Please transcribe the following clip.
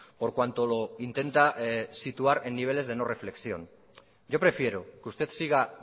por cuanto lo intenta situar en niveles de no reflexión yo prefiero que usted siga